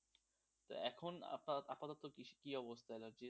এখন আপনার আপাতত কি অবস্থায় আছে?